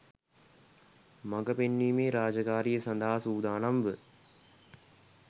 මග පෙන්වීමේ රාජකාරිය සඳහා සූදානම්ව